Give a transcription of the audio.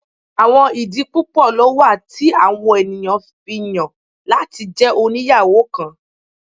Awọn idi pupọ lo wa ti awọn eniyan fi yan lati jẹ oniyawo kan